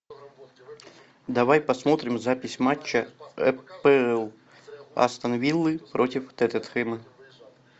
давай посмотрим запись матча апл астон виллы против тоттенхэма